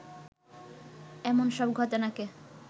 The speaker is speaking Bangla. এমন সব ঘটনাকে